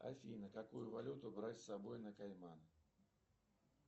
афина какую валюту брать с собой на кайман